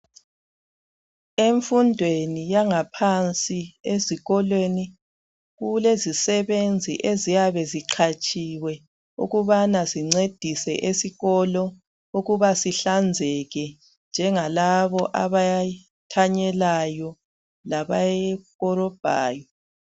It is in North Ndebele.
Emfundweni yangaphansi ezikolweni kulezisebenzi eziyabe ziqhatshiywe ukubana zingcedise esikolo ukubana sihlanzeke njengalabo abathanyelayo labakorobhayo